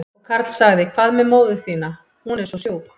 Og Karl sagði, hvað með móður þína, hún er svo sjúk?